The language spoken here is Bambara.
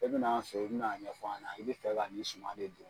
E bɛ na an fɛ ye i bɛ n'a ɲɛfɔ an na i bɛ fɛ ka nin suma de don.